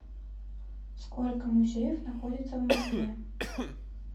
сколько музеев находится в москве